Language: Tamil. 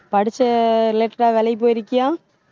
படிச்சு ஆஹ் related ஆ வேலைக்கு போயிருக்கியா?